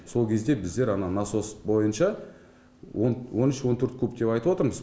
сол кезде біздер ана насос бойынша он үш он төрт куб деп айтыватырмыз